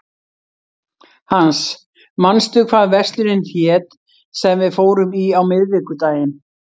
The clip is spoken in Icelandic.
Hans, manstu hvað verslunin hét sem við fórum í á miðvikudaginn?